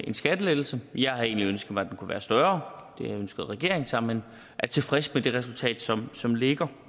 en skattelettelse jeg havde egentlig ønsket mig at kunne være større det ønskede regeringen sig men er tilfreds med det resultat som som ligger